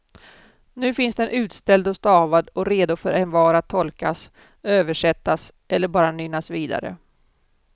Nu finns den utställd och stavad och redo för envar att tolkas, översättas eller bara nynnas vidare.